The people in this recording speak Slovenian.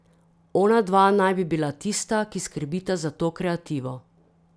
Onadva naj bi bila tista, ki skrbita za to kreativo.